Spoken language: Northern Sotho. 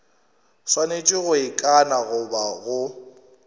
swanetše go ikana goba go